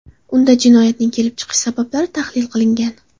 Unda jinoyatning kelib chiqish sabablari tahlil qilingan.